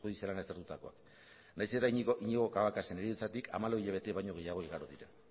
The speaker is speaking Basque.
baizik eta iñigo cabacasen heriotzatik hamabi hilabete baina gehiago igaro dira